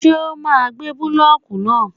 Ṣé ó máa gbé búlọ́kù náà?